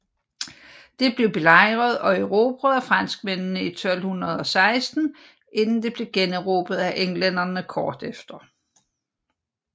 Det blev belejret og erobret af franskmændene i 1216 inden det blev generobret af englænderne kort efter